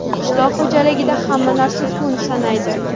Qishloq xo‘jaligida hamma narsa kun sanaydi.